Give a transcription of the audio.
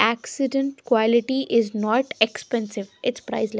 Accident quality is not expensive it's priceless.